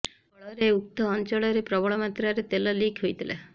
ଫଳରେ ଉକ୍ତ ଅଞ୍ଚଳରେ ପ୍ରବଳ ମାତ୍ରାରେ ତେଲ ଲିକ୍ ହୋଇଥିଲା